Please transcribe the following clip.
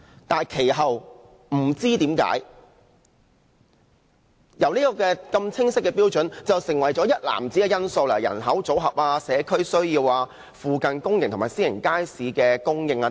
然而，其後不知何故，這些清晰的標準變成了一籃子因素，包括人口組合、社區需要、附近公營及私營街市設施的供應等。